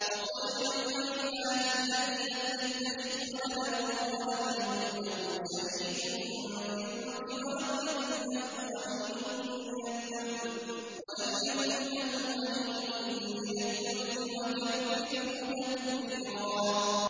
وَقُلِ الْحَمْدُ لِلَّهِ الَّذِي لَمْ يَتَّخِذْ وَلَدًا وَلَمْ يَكُن لَّهُ شَرِيكٌ فِي الْمُلْكِ وَلَمْ يَكُن لَّهُ وَلِيٌّ مِّنَ الذُّلِّ ۖ وَكَبِّرْهُ تَكْبِيرًا